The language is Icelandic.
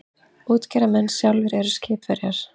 Útgerðarmenn sem sjálfir eru skipverjar.